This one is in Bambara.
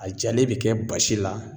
A jalen bɛ kɛ basi la